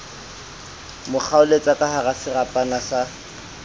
mo kgaoletsa kahara serapa sa